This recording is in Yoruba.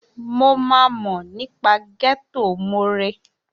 Mo máa mọ̀ nípa Ghetto more